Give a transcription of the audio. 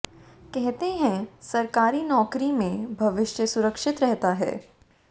कहते हैं सरकारी नौकरी में भविष्य सुरक्षित रहता है